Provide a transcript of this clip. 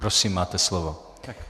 Prosím máte slovo.